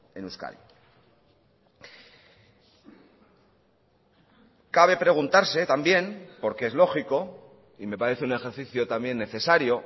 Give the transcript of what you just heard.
en euskadi cabe preguntarse también porque es lógico y me parece un ejercicio también necesario